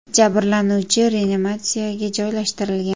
Jabrlanuvchi reanimatsiyaga joylashtirilgan.